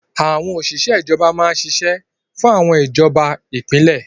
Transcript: Àwọn òṣìṣẹ́ ìjọba máa n ṣiṣẹ́ fún àwọn ìjọba ìpínlẹ̀